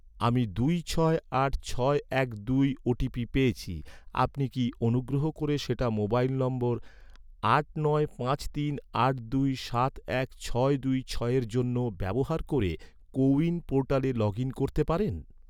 আমি দুই ছয় আট ছয় এক দুই ওটিপি পেয়েছি, আপনি কি অনুগ্রহ করে সেটা মোবাইল নম্বর আট নয় পাঁচ তিন আট দুই সাত এক ছয় দুই ছয়ের জন্য ব্যবহার ক’রে, কো উইন পোর্টালে লগ ইন করতে পারেন?